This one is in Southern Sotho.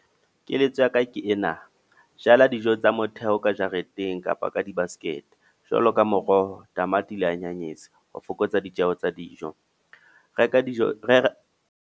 Keletso ya ka ke ena. Jala dijo tsa motheo ka jareteng kapa ka di-basket. Jwalo ka moroho, tamati le anyanyese, ho fokotsa ditjeho tsa dijo. Reka dijo re .